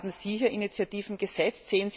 Haben Sie hier Initiativen gesetzt?